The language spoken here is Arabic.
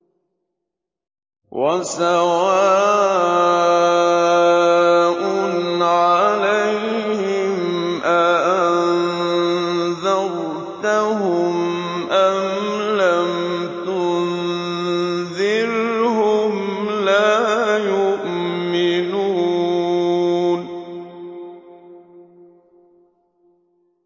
وَسَوَاءٌ عَلَيْهِمْ أَأَنذَرْتَهُمْ أَمْ لَمْ تُنذِرْهُمْ لَا يُؤْمِنُونَ